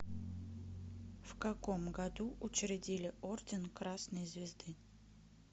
в каком году учредили орден красной звезды